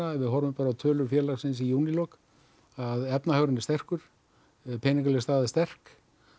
ef við horfum á tölur félagsins í júlílok að efnahagurinn er sterkur peningaleg staða er sterk